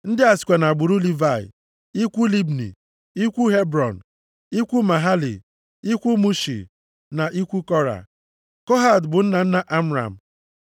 Ndị a sikwa nʼagbụrụ Livayị: ikwu Libni, ikwu Hebrọn, ikwu Mahali, ikwu Mushi, na ikwu Kora. (Kohat bụ nna nna Amram.